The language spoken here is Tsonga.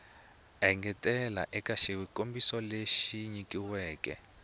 engetela eka swikombiso leswi nyilaweke